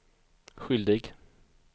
skyldig